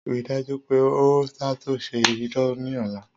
Rii daju pe o ṣatunṣe ina ni ọla!